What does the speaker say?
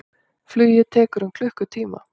Flugið tekur um klukkutíma.